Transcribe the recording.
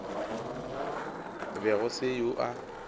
be go se yoo a